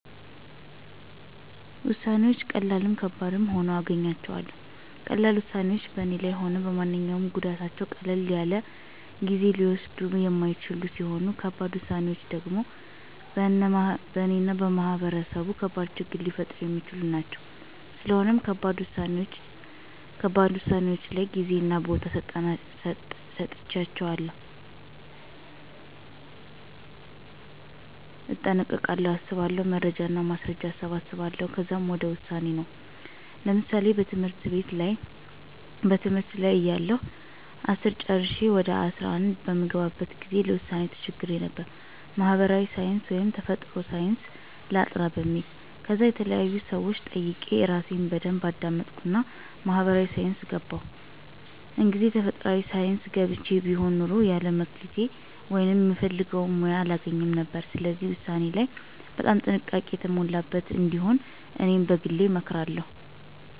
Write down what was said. ውሳነወች ቀላልም ከባድም ሁኖ አገኘዋለሁ። ቀላል ውሳኔወች በኔ ላይም ሆነ በማንኛውም ጎዳታቸው ቀለል ያለናጊዜ ሊወስዱየ የማይችሉ ሲሆኑ ከባድ ውሳኔወች ደሞ በእነ እና በማህበረሰቡ ከባድ ችግር ሊፈጥሩ የሚችሉ ናቸው። ስለሆነም ከባድ ውሳኔወች ላይ ጌዜና ቦታ ሰጥቸ አያቸዋለሁ። እጠነቀቃለሁ አስባለሁ። መረጃና ማስረጃ አሰባስባለሁ ከዛ ወደ ውሳኔ ነው። ለምሳሌ በትምህርት ላይ እያለሁ አስርን ጨረሸ ወደ አስራ አንድ በምገባበት ጊዜ ለውሳኔ ተቸግሬ ነበር። ማህበራዊ ሳንስ ወይስ ተፈጥሮአዊ ሳንስ ላጥና በሚል። ከዛ የተለያዩ ሰወችን ጠየቅሁ እራሴን በደንብ አዳመጥሁና ማህበራዊ ሳይንስ ገባሁ። እንግዜ ተፈጥሯአዊ ሳንስ ገብቸ ቢሆን ኑሮ የለ መክሊቴ ወይም ምፈልገውን ሙያ አላገኝም ነበር። ስለዚህ ውሳኔ ላይ በጣም ጥንቃቄ የሞላበት እንዲሆን እኔ በግሌ እመክራለሁ